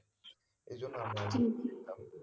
এইজন্য আমরা যেতাম